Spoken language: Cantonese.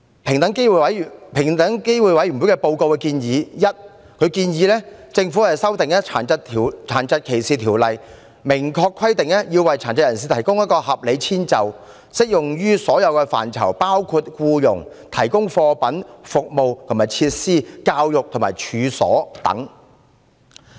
平機會報告建議，政府應修訂《殘疾歧視條例》，明確規定要為殘疾人士提供合理遷就，適用於所有範疇，包括僱傭；提供貨品、服務及設施；教育和處所等。